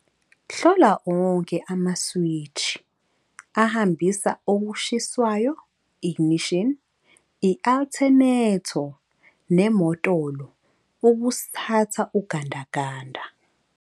Hlola onke amaswitshi ahambisa okushisiwayo, ignition, i-altenetho nemotolo ukusthatha ugandaganda.